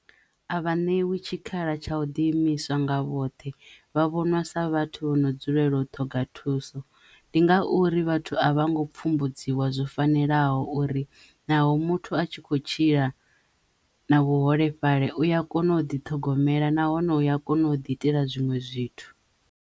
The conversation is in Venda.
A vha ṋewi tshikhala tsha u ḓiimisa nga vhoṱhe vha vhonwa sa vhathu vho no dzulela u ṱhoga thuso ndi ngauri vhathu a vha ngo pfumbudziwa zwo fanelaho uri naho muthu a tshi kho tshila na vhuholefhali uya kono u ḓi ṱhogomela nahone uya kono u ḓi itela zwinwe zwithu.